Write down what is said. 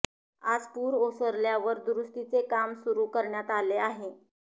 आज पूर ओसल्यावर दुरुस्तीचे काम सुरु करण्यात आले आहे